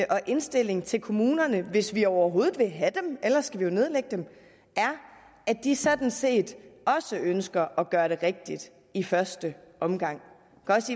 og indstilling til kommunerne hvis vi overhovedet vil have dem ellers skal vi jo nedlægge dem er at de sådan set også ønsker at gøre det rigtigt i første omgang